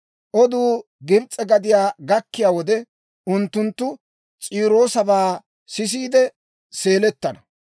Oduu Gibs'e gadiyaa gakkiyaa wode, unttunttu S'iiroosabaa sisiide seelettana.